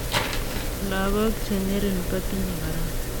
Lagok che ng'ering kotinyei korona.